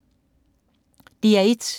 DR1